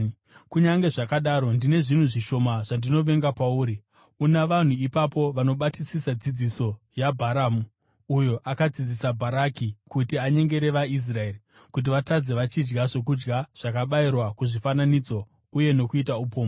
Kunyange zvakadaro, ndine zvinhu zvishoma zvandinovenga pauri: Una vanhu ipapo vanobatisisa dzidziso yaBharamu, uyo akadzidzisa Bharaki kuti anyengere vaIsraeri kuti vatadze vachidya zvokudya zvakabayirwa kuzvifananidzo uye nokuita upombwe.